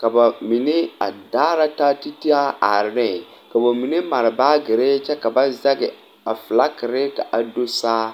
ka bamine a daara taa ti taa are neŋ ka ba mine mare baagere kyɛ ka ba zɛŋ a fiilaakiri ka a do saa